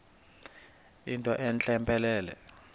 yinto entle mpelele